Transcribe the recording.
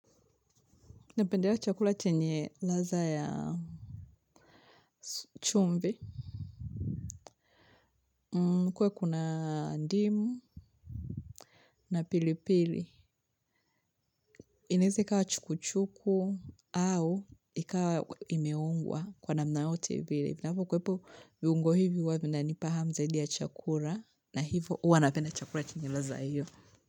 Napendea chakula chenye ladha ya chumvi, kuwe kuna ndimu na pili pili. Inaweza ikawa chukuchuku au ikawa imeungwa kwa namna yoyote vile. Inapo kuepo viungo hivi huwa vinanipa hamu zaidi ya chakula na hivyo hua napenda chakula chenye ladha hiyo.